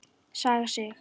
Saga Sig.